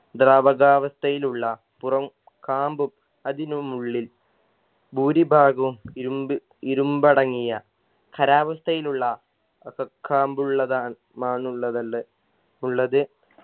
ദ്രാവകാവസ്ഥയിലുള്ള പുറം കാമ്പും അതിനും ഉള്ളിൽ ഭൂരിഭാഗവും ഇരുമ്പ് ഇരുമ്പടങ്ങിയ ഖരാവസ്ഥയിലുള്ള അക കാമ്പുള്ളതാ മാന്നുള്ളതള്ള് ഉള്ളത്